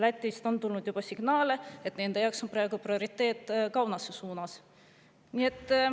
Lätist on tulnud juba signaale, et nende jaoks on praegu prioriteet Kaunase suund.